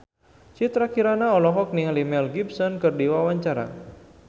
Citra Kirana olohok ningali Mel Gibson keur diwawancara